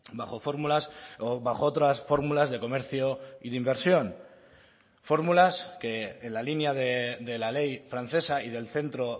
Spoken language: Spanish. bajo fórmulas o bajo otras fórmulas de comercio y de inversión fórmulas que en la línea de la ley francesa y del centro